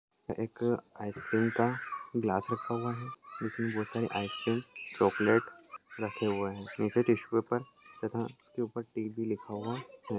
एक अ आईसक्रीम का ग्लास रखा हुआ है जिसमे बहुत सारे आईसक्रीम चॉकलेट रखे हुए है नीचे टिशू पेपर तथा उसके उपर टीबी लिखा हुआ है।